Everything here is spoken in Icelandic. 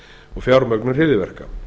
og fjármögnun hryðjuverka